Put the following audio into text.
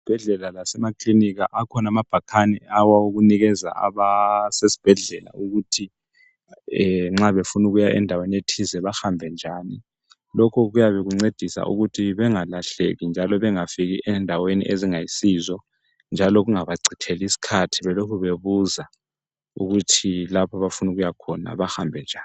Ezibhedlela lase ma klinika akhona bhakane awokunika abasesibhedlela ukuthi nxabe funa ukuya endaweni ethize behambe lokhu kuyancedisa ukuthi bengalahleki njani bengafiki endaweni ezingayisizo njalo kungaba citheli isikhathi belokhe bebuza ykuthi lapho abayabe befuna ukuya khona bahambe njani.